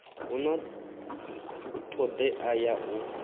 hu na todea ya u